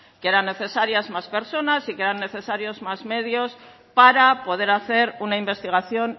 que eran necesarias más personas y que eran necesarios más medios para poder hacer una investigación